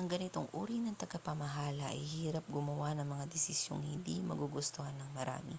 ang ganitong uri ng tagapamahala ay hirap gumawa ng mga desisyong hindi magugustuhan ng marami